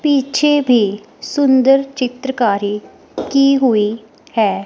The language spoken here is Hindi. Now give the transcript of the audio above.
पीछे भी सुंदर चित्रकारी की हुई है।